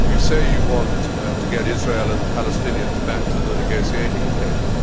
You say you want to get Israel and the Palestinians back to the negotiating table.